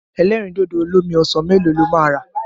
Ẹlẹ́rìndòdò olómi ọsàn mélòó lo máa rà?